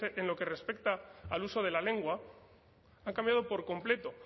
en lo que respecta al uso de la lengua han cambiado por completo